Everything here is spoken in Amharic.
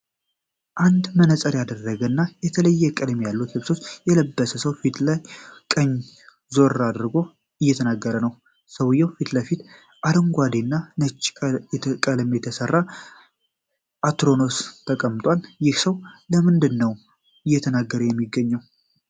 አንድ መነጸር ያደረገ እና የተለያየ ቀለማት ያሉትን ልብስ የለበሰ ሰው ፊቱን ወደ ቀኝ ዞር አድርጎ እየተናገረ ነው። ከሰውየው ፊትለፊትም ከአረንጓዴ እና ነጭ ቀለም የተሰራ አትሮኖስ ተቀምጧል። ይህ ሰው ስለምንድን ነው እየተናገረ የሚገኘው?